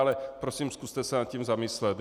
Ale prosím, zkuste se nad tím zamyslet.